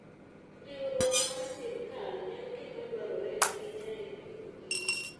Riwruok mar sirkal en gima dwarore ahinya e Agriculture and Food